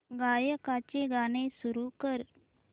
गायकाचे गाणे सुरू कर